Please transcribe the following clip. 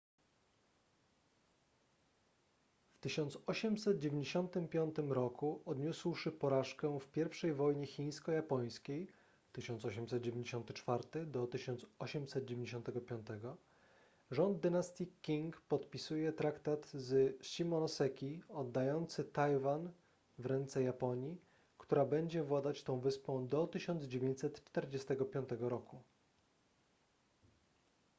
w 1895 roku odniósłszy porażkę w pierwszej wojnie chińsko-japońskiej 1894–1895 rząd dynastii qing podpisuje traktat z shimonoseki oddający tajwan w ręce japonii która będzie władać tą wyspą do 1945 roku